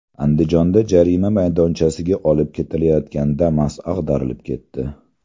Andijonda jarima maydonchasiga olib ketilayotgan Damas ag‘darilib ketdi.